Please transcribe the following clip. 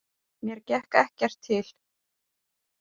Mér gekk ekkert til.